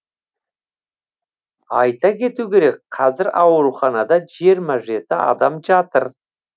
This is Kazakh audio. айта кету керек қазір ауруханада жиырма жеті адам жатыр